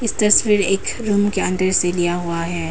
तस्वीर रूम के अंदर से लिया हुआ है।